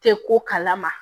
Tɛ ko kalama